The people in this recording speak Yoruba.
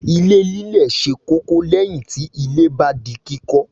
Ilé lílẹ̀ ṣe kókó lẹ́yìn tí ilé bá di kíkọ́.